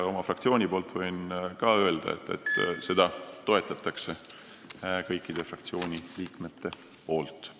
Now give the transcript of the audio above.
Ja oma fraktsiooni nimel võin veel öelda, et kõik fraktsiooni liikmed toetavad seda.